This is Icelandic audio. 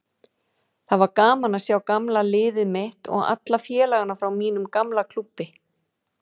Það var gaman að sjá gamla liðið mitt og alla félagana frá mínum gamla klúbbi.